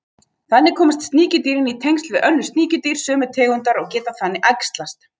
Þannig komast sníkjudýrin í tengsl við önnur sníkjudýr sömu tegundar og geta þannig æxlast.